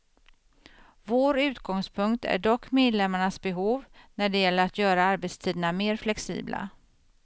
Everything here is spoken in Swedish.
Vår utgångspunkt är dock medlemmarnas behov när det gäller att göra arbetstiderna mer flexibla.